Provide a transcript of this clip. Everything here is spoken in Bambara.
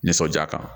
Nisɔndiya kan